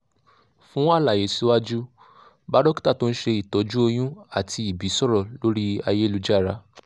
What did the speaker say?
fún àlàyé síwájú bá dókítà tó ń ṣe ìtọ́jú oyún àti ìbí sọ̀rọ̀ lórí ayélujára